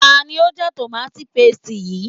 Ta ni ó já tòmááti pasìtì yìí